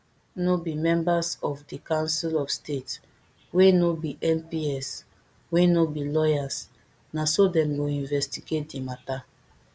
no be members of di council of state wey no be mps wey no be lawyers na so dem go investigate di mata